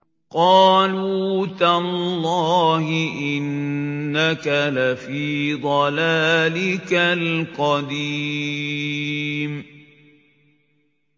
قَالُوا تَاللَّهِ إِنَّكَ لَفِي ضَلَالِكَ الْقَدِيمِ